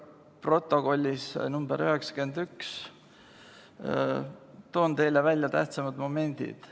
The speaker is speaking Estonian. Protokollis nr 91 toon teile välja tähtsamad momendid.